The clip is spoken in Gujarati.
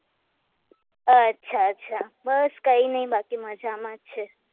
અચ્છા અચ્છા બસ કઈ નહિ બાકી મજામાં જ છે